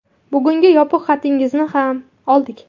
Bugungi yopiq xatingizni ham oldik.